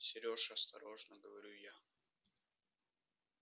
серёж осторожно говорю я